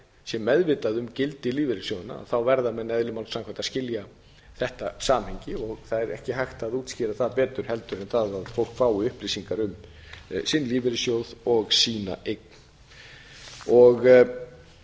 sé meðvitað um gildi lífeyrissjóðanna verða menn eðli málsins samkvæmt að skilja þetta samhengi það er ekki hægt að útskýra það betur en það að fólk fái upplýsingar um sinn lífeyrissjóð og sína eign